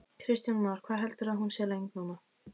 Kristján Már: Hvað heldurðu að hún sé löng núna?